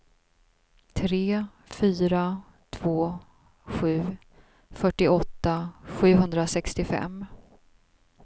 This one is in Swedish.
tre fyra två sju fyrtioåtta sjuhundrasextiofem